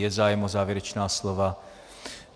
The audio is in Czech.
Je zájem o závěrečná slova?